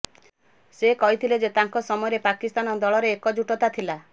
ସେକହିଥିଲେ ଯେ ତାଙ୍କ ସମୟରେ ପାକିସ୍ତାନ ଦଳରେ ଏକଜୁଟତା ଥିଲା